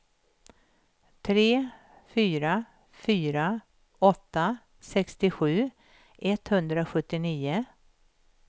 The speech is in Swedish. tre fyra fyra åtta sextiosju etthundrasjuttionio